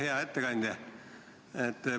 Hea ettekandja!